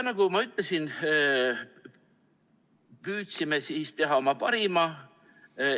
Nagu ma ütlesin, püüdsime teha oma parima.